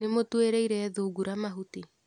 Nĩmũtuĩrĩire thungura mahuti.